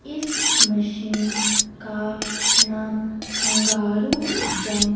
इस मशीन का नाम कंगारू जम--